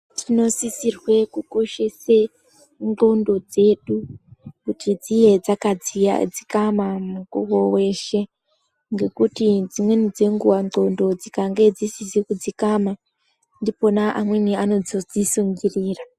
Tinosisirwe kukoshese nxondo dzedu kuti dziye dzakadzikama mukuwo weshe ngekuti dzimweni dzenguwa nxondo dzikange dzisizi kudzikama ndipona amweni anozodzisungirira.